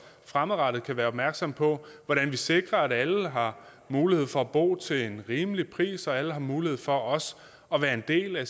fremadrettet kan være opmærksomme på hvordan vi sikrer at alle har mulighed for at bo til en rimelig pris og at alle har mulighed for også at være en del af